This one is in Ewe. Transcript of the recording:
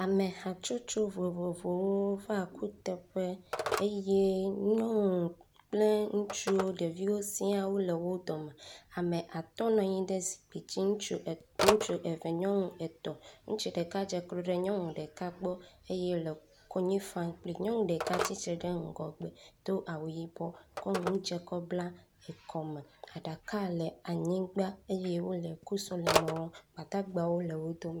Ame hatsotso vovovowo va kuteƒe eye nyɔnu, ŋutsu kple ɖeviwo siaa wole wo dome, ame atɔ nɔ anyi ɖe zikpi dzi, ŋutsu eve, nyɔnu etɔ, ŋutsu ɖeka dzeklo ɖe nyɔnu ɖeka gbɔ eye wole konyi fam kpli, nyɔnu ɖeka tsitre ɖe ŋgɔgbe do awu yibɔ ko ŋu dze ko bla ekɔme, aɖaka le anyigba eye wole kusɔleme wɔm, gbadagbawo le wo dome